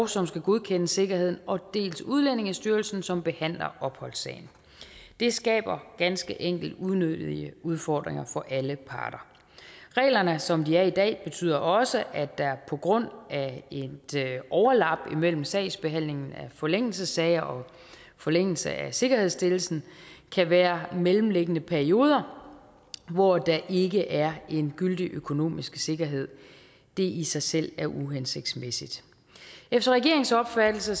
som skal godkende sikkerheden og dels udlændingestyrelsen som behandler opholdssagen det skaber ganske enkelt unødige udfordringer for alle parter reglerne som de er i dag betyder også at der på grund af et overlap imellem sagsbehandlingen af forlængelsessager og forlængelse af sikkerhedsstillelsen kan være mellemliggende perioder hvor der ikke er en gyldig økonomisk sikkerhed det i sig selv er uhensigtsmæssigt efter regeringens opfattelse